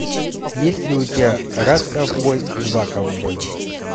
есть ли у тебя раз ковбой два ковбой